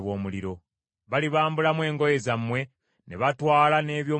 Balibambulamu engoye zammwe, ne batwala n’eby’omu bulago.